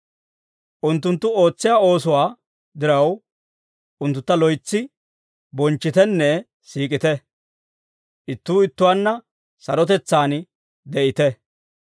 Unttunttu ootsiyaa oosuwaa diraw, unttuntta loytsi bonchchitenne siik'ite. Ittuu ittuwaanna sarotetsaan de'ite.